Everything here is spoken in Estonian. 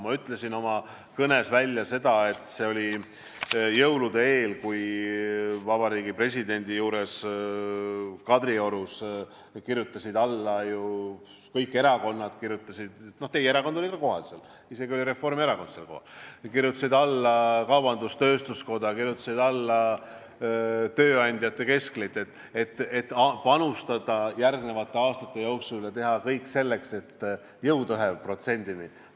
Ma ütlesin oma kõnes seda, et see oli jõulude eel, kui Vabariigi Presidendi juures Kadriorus kirjutasid alla ju kõik erakonnad – teie erakond oli ka seal kohal, isegi Reformierakond oli seal kohal –, kaubandus-tööstuskoda, tööandjate keskliit, et järgnevate aastate jooksul teha kõik selleks, et jõuda 1%-ni.